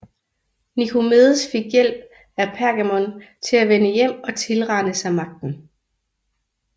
Nikomedes fik hjælp af Pergamon til at vende hjem og tilrane sig magten